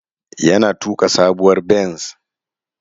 Yana tuka sabuwar benz.